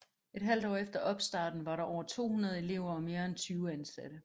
Et halvt år efter opstarten var der over 200 elever og mere end 20 ansatte